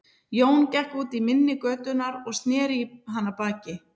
Jón gekk út í mynni götunnar og sneri í hana baki.